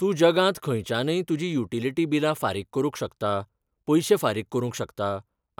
तूं जगांत खंयच्यानय तुजीं युटिलिटी बिलां फारीक करूंक शकता, पयशे फारीक करूंक शकता